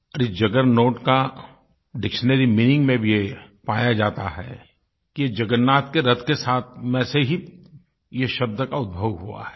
और इस जगरनॉट के डिक्शनरी मीनिंग में भी ये पाया जाता है कि जगन्नाथ के रथ के साथ में से ही ये शब्द का उद्भव हुआ है